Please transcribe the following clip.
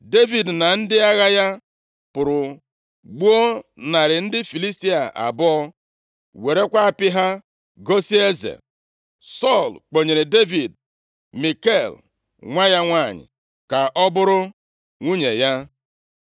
Devid na ndị agha ya pụrụ gbuo narị ndị Filistia abụọ, werekwa apị ha gosi eze. Sọl kpọnyere Devid Mikal, nwa ya nwanyị, ka ọ bụrụ nwunye ya.